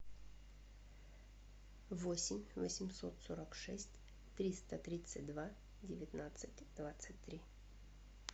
восемь восемьсот сорок шесть триста тридцать два девятнадцать двадцать три